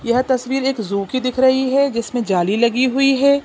यह तस्वीर एक ज़ू की दिख रही है जिसमें जाली लगी हुई है।